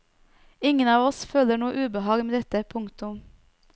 Ingen av oss føler noe ubehag med dette. punktum